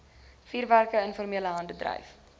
vuurwerke informele handeldryf